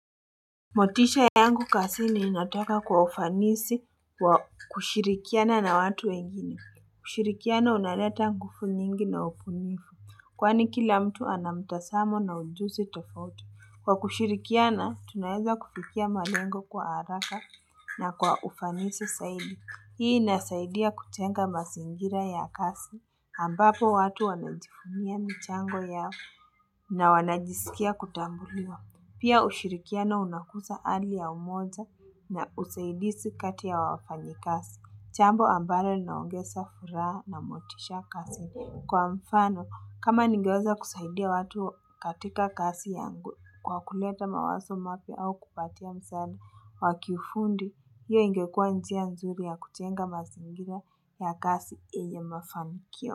Motisha yangu kazini inataka kwa ufanisi kwa kushirikiana na watu wengine. Kushirikiana unaleta nguvu nyingi na ubunifu. Kwani kila mtu ana mtazamo na ujuzi tofauti Kwa kushirikiana, tunaeza kufikia malengo kwa haraka na kwa ufanisi zaidi. Hii inasaidia kujenga mazingira ya kazi. Ambapo watu wanajivunia michango yao na wanajisikia kutambuliwa. Pia ushirikiano unakuza hali ya umoja na usaidizi kati ya wafanyakazi. Jambo ambalo linaongeza furaha na motisha kazini. Kwa mfano, kama ningeweza kusaidia watu katika kazi yangu kwa kuleta mawazo mapya au kupatia msani wakifundi, hiyo ingekua njia nzuri ya kujenga mazingira ya kazi yenye mafanikio.